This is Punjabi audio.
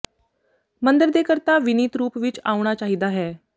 ਮੰਦਰ ਦੇ ਕਰਤਾ ਵਿਨੀਤ ਰੂਪ ਵਿੱਚ ਆਉਣਾ ਚਾਹੀਦਾ ਹੈ